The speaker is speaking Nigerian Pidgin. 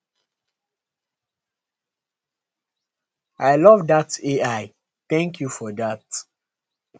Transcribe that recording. i love dat ai thank you for dat